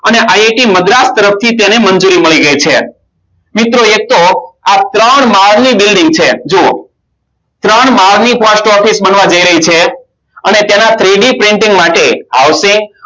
અને મદ્રાશ તરફ તેને મંજૂરી મળી ગય છે મિત્રો એક તો ત્રણ માલની building છે જો ત્રણ માલની post office બનવા જાય રહી છે અને તેના three D printing માટે આવશે